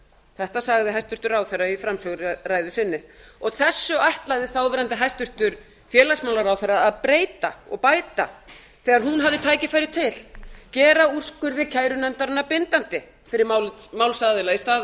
þetta sagði hæstvirtur ráðherra í framsöguræðu sinni þessu ætlaði þáverandi hæstvirtur félagsmálaráðherra að breyta og bæta þegar hún hafði tækifæri til gera úrskurði kærunefndarinnar bindandi fyrir málsaðila í stað